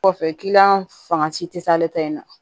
Kɔfɛ fanga ci te s'ale ta ye